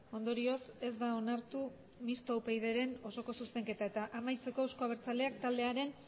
ondorioz ez da onartu mistoa upydren osoko zuzenketa eta amaitzeko euzko abertzaleak taldearen